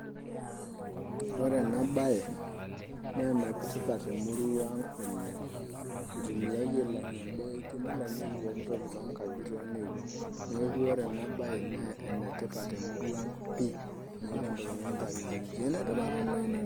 Ore enabaye naa enetipat temurua ang' oleng'. itumiai ailang'ie imboitie nilang'ieki pooki toki toonkajijik. Neeku ore ena baye naa enetipat temurua pii meeta entoki nikintanyanyukie enetipat oleng'.